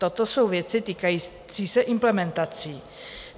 Toto jsou věci týkající se implementací.